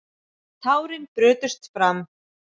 Tárin brutust fram.